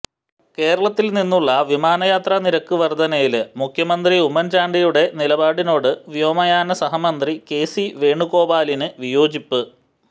കേരളത്തില് നിന്നുള്ള വിമാനയാത്രാനിരക്ക് വര്ധനയില് മുഖ്യമന്ത്രി ഉമ്മന് ചാണ്ടിയുടെ നിലപാടിനോട് വ്യോമയാനസഹമന്ത്രി കെസി വേണുഗോപാലിന് വിയോജിപ്പ്